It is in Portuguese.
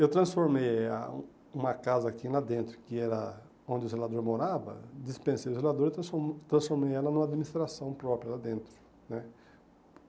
Eu transformei ah uma casa aqui lá dentro, que era onde o zelador morava, dispensei do zelador e transformei ela numa administração própria lá dentro né.